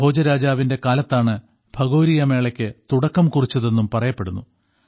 ഭോജരാജാവിന്റെ കാലത്താണ് ഭഗോരിയ മേളയ്ക്ക് തുടക്കം കുറിച്ചതെന്നും പറയപ്പെടുന്നു